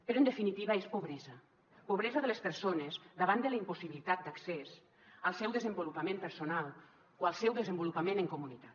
però en definitiva és pobresa pobresa de les persones davant de la impossibilitat d’accés al seu desenvolupament personal o el seu desenvolupament en comunitat